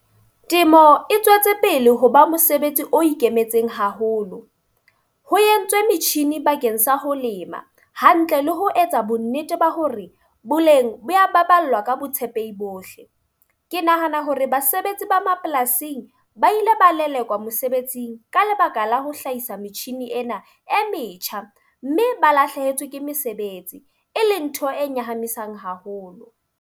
Temo e tswetse pele ho ba mosebetsi o ikemetseng haholo. Ho entswe metjhini bakeng sa ho lema hantle le ho etsa bo nnete ba hore boleng bo ya baballwa ka botshepehi bohle. Ke nahana hore basebetsi ba mapolasing ba ile ba lelekwa mosebetsing ka lebaka la ho hlahisa metjhini ena e metjha. Mme ba lahlehetswe ke mesebetsi, e leng ntho e nyahamisa haholo.